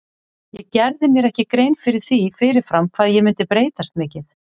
Ég gerði mér ekki grein fyrir því fyrir fram hvað ég myndi breytast mikið.